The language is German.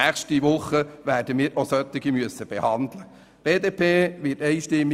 Nächste Woche werden wir unter anderem solche behandeln müssen.